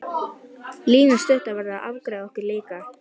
Lína stutta verður að afgreiða okkur líka.